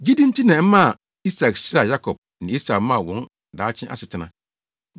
Gyidi nti na ɛmaa Isak hyiraa Yakob ne Esau maa wɔn daakye asetena.